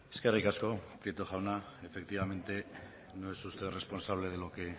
eskerrik asko prieto jauna efectivamente no es usted responsable de lo que